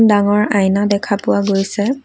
ডাঙৰ আইনা দেখা পোৱা গৈছে।